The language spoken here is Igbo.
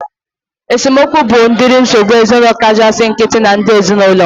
Esemokwu bụ udiri nsogbu ezinaụlọ kachasị nkịtị na ndị ezinaụlọ